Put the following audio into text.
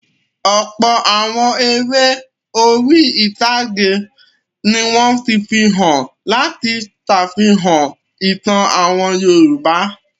Ọ̀pọ̀ àwọn eré orí-ìtàgé ni wọ́n ti fi hàn láti ṣàfihàn ìtàn àwọn Yorùbá.